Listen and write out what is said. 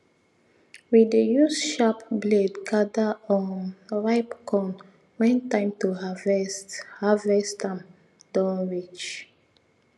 we dey use sharp blade gather um ripe corn when time to harvest harvest am don reach